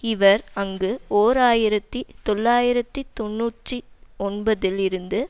இவர் அங்கு ஓர் ஆயிரத்தி தொள்ளாயிரத்தி தொன்னூற்றி ஒன்பதில் இருந்து